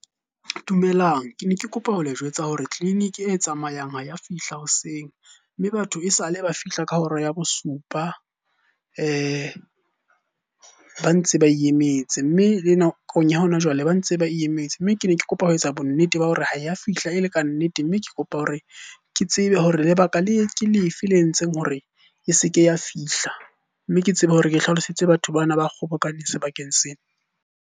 Dumelang. Ke ne ke kopa ho le jwetsa hore tleliniki e tsamayang ha ya fihla hoseng, mme batho e sale ba fihla ka hora ya bosupa ba ntse ba e emetse. Mme le nakong ya hona jwale ba ntse ba e emetse, mme ke ne ke kopa ho etsa bonnete ba hore ha ya fihla e le kannete. Mme ke kopa hore ke tsebe hore lebaka ke lefe le entseng hore e se ke ya fihla? Mme ke tsebe hore ke hlalosetse batho bana ba kgobokane sebakeng sena.